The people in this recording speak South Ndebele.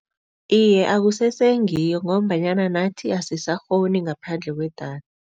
Iye, akusese ngiyo ngombanyana nathi asisakghoni ngaphandle kwedatha.